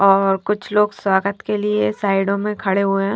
और कुछ लोग स्वागत के लिए साइड ओ में खडे हुए हैं।